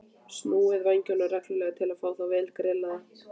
Snúið vængjunum reglulega til að fá þá vel grillaða.